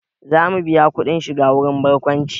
Za mu biya kuɗin shiga wurin barkwanci